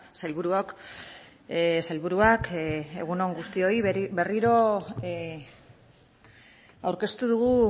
sailburuok sailburuak egun on guztioi berriro aurkeztu dugu